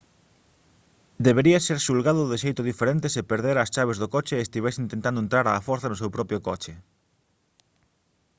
debería ser xulgado de xeito diferente se perdera as chaves do coche e estivese intentando entrar á forza no seu propio coche